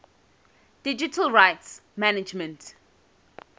digital rights management